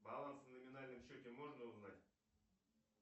баланс на номинальном счете можно узнать